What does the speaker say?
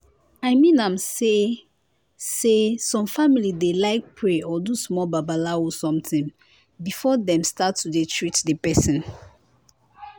i mean am say am say some family dey like pray or do small babalawo somtin before dem start to dey treat di pesin.